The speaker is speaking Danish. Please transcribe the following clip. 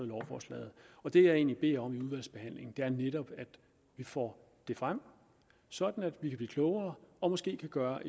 lovforslaget det jeg egentlig beder om i udvalgsbehandlingen er netop at vi får det frem sådan at vi kan blive klogere og måske kan gøre